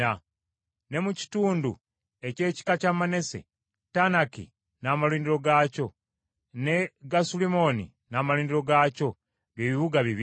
Ne mu kitundu eky’ekika kya Manase, Taanaki, n’amalundiro gaakyo, ne Gasulimmoni n’amalundiro gaakyo, bye bibuga bibiri.